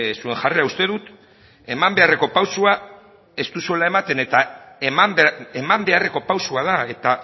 zuen jarrera uste dut eman beharreko pausoa ez duzuela ematen eta eman beharreko pausoa da eta